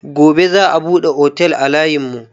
Gobe za a buɗe otel a layin mu